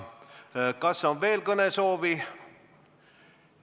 Kas on veel kõnesoove?